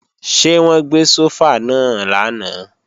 Ṣé wọ́n gbé sófà náà lánàá?